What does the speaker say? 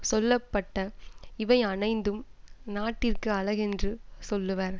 சொல்ல பட்ட இவையனைந்தும் நாட்டிற்கு அழகென்று சொல்லுவர்